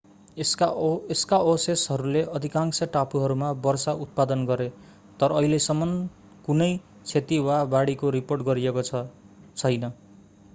यसका अवशेषहरूले अधिकांश टापुहरूमा वर्षा उत्पादन गरे तर अहिलेसम्म कुनै क्षति वा बाढीको रिपोर्ट गरिएको छैन